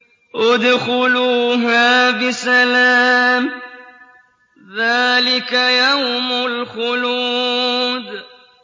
ادْخُلُوهَا بِسَلَامٍ ۖ ذَٰلِكَ يَوْمُ الْخُلُودِ